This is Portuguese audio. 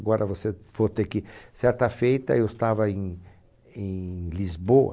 Agora você for ter que, certa feita, eu estava em em Lisboa.